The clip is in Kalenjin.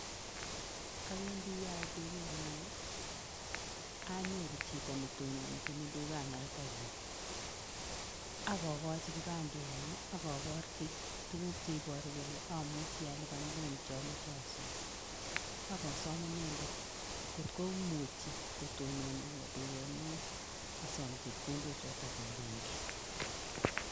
Awendi yait duket ne oo, anyoru chito ne tononchini dukanata oo, ak kokochi kipandenyu ak aborchi tuguk che iboru kole amuchi alipan loan cho moche asom, ak asom inendet ngot komuchi kotononwo duket ne oo asom chepkondochoto eng benki.